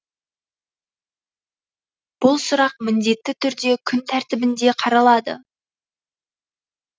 бұл сұрақ міндетті түрде күн тәртібінде қаралады